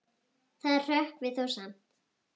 Það hrökkvi þó skammt.